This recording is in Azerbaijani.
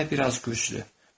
Bu dəfə biraz güclü.